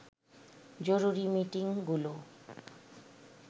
জরুরী মিটিংগুলো